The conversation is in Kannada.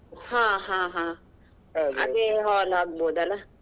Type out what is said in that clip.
ಹ ಹಾ ಹಾ hall ಆಗಬಹುದು ಅಲ್ಲ.